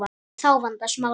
Þá vandast málið.